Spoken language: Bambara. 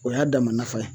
O y'a damana ye